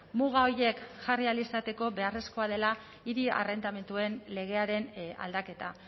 muga horiek jarri ahal izateko beharrezkoa dela hiri arrendamenduen legearen aldaketa